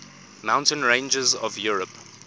mountain ranges of europe